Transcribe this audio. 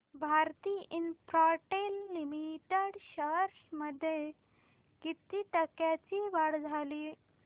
Bharti Infratel limited shares मध्ये किती टक्क्यांची वाढ झाली